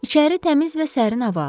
İçəri təmiz və sərin hava axdı.